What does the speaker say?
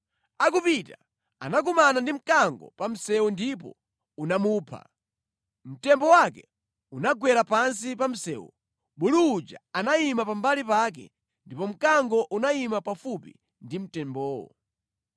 Akupita, anakumana ndi mkango pa msewu ndipo unamupha, mtembo wake unagwera pansi pa msewu, bulu uja anayima pambali pake ndipo mkango unayima pafupi ndi mtembowo.